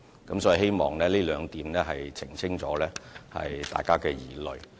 我希望這兩點釋除了大家的疑慮。